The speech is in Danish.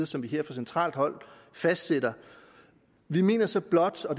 som vi her fra centralt hold fastsætter vi mener så blot og